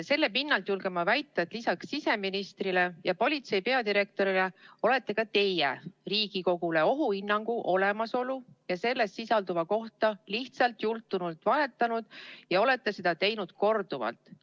Selle pinnal julgen ma väita, et lisaks siseministrile ja politsei peadirektorile olete ka teie Riigikogule ohuhinnangu olemasolu ja selles sisalduva kohta lihtsalt jultunult valetanud ja olete seda teinud korduvalt.